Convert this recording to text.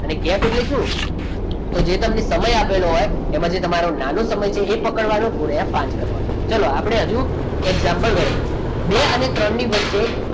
અને અનેક ગેપ જોઈશું જે તમને સમય આપેલો હોય એમાં જે તમારે નાનો સમય છે એ પકડવાનો ગુણ્યા પાંચ કરવાના ઓકે ચલો આપણે હજુ example ગણીએ બે અને ત્રણ ની વચ્ચે